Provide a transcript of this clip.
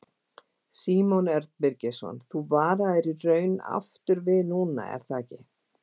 Símon Örn Birgisson: Þú varaðir í raun aftur við núna er það ekki?